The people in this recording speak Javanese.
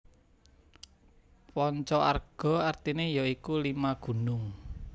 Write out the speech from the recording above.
Panca Arga artine ya iku Lima Gunung